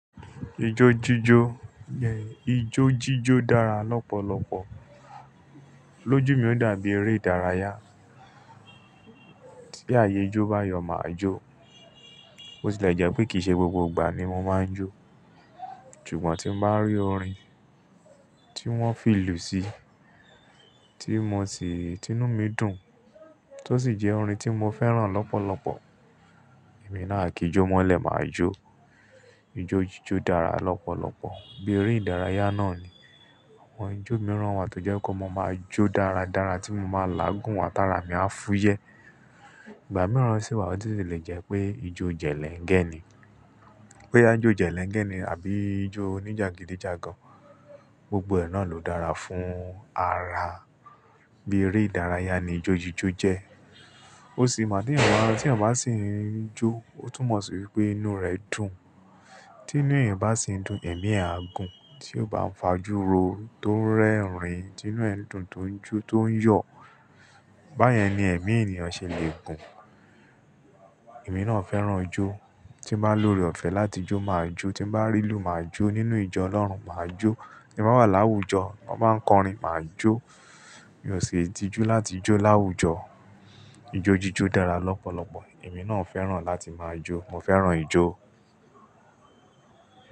Ijó jíjó, ijó jíjó dára lọ́pọ̀lọpọ̀. Lójú mi ò dàbí eré ìdárayá. Tí ààyè ijó bá yọ màá jó. Bó ti lè jẹ́ pé kìí ṣe gbogbo ìgbà ni mo máa ń jó. Ṣùgbọ́n tí n bá rí orin tí wọ́n fi lù sí, tí mo sì, tí inú mi dùn, tó sì jẹ́ orin tí mo fẹ́ràn lọ́pọ̀lọpọ̀, èmi náà a kí jó mọ́lẹ̀ màá jó. Ijó jíjó dára lọ́pọ̀lọpọ̀, bí eré ìdárayá náà ni. Àwọn ijó mìíràn wà tó jẹ́ kó máa jó dáradára tí mo máa lágùn wá, tààrà mi á fúyẹ́. Ìgbà mìíràn sì wà ó sì lè jẹ́ pé ijó jẹ̀lẹ́ńgẹ̀ ni. Bóyá jó jẹ̀lẹ́ńgẹ̀ ni àbí ijó oníjàgídíjàgan, gbogbo ẹ náà ló dára fún ara. Bí eré ìdárayá ni ijó jíjó jẹ́. Ó sì mo tèyàn bá ń, tí ènìyàn bá sì ń jó, ó tún mọ̀ sí wípé inú rẹ̀ dùn. Tí inú èyàn bá sì ń dùn, ẹ̀mí ẹ̀ á gùn, tí ó bá ń fajúrò, tó ń rẹ́rìn, tí inú ẹ̀ ń dùn, tó ń jó, tó ń yọ̀, báyẹn ni ẹ̀mí ẹniyàn ṣe lè gùn. Èmi náà fẹ́ràn ijó. Tí bá lóore ọ̀fẹ́ láti jó màá jó, tí bá rí ìlù màá jó, nínú ìjọ Ọlọ́run màá jó, tí n bá wà láwùjọ, tán bá ń kọrin màá jó. Mi ò ṣin tìjú láti jó láwùjọ. Ijo jíjó dára lọ́pọ̀lọpọ̀. Èmi náà fẹ́ràn láti máa jó. Mo fẹ́ràn ijó.